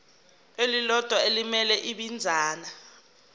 elilodwa elimele ibinzana